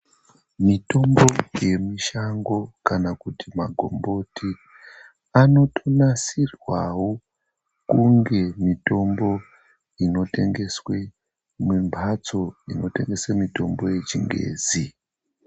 Mitombo yemushango kana kuti magomboti anotonasirwawo kunge mitombo inotengeswe mumhatso inotengeswe mitombo yechingezi